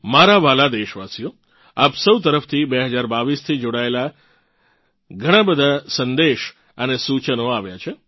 મારાં વ્હાલાં દેશવાસીઓ આપ સૌ તરફથી 2022 થી જોડાયેલ ઘણાં બધા સંદેશ અને સૂચન આવ્યાં છે